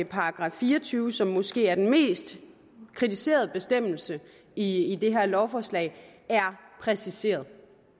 § fire og tyve som måske er den mest kritiserede bestemmelse i det her lovforslag er præciseret